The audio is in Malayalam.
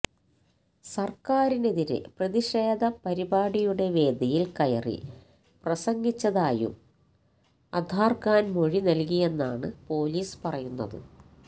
സര്ക്കാരിനെതിരേ പ്രതിഷേധ പരിപാടിയുടെ വേദിയില് കയറി പ്രസംഗിച്ചതായും അതാര് ഖാന് മൊഴി നല്കിയെന്നാണ് പോലിസ് പറയുന്നത്